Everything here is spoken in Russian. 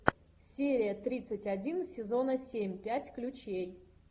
серия тридцать один сезона семь пять ключей